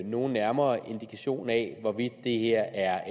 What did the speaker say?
nogen nærmere indikation af hvorvidt det her er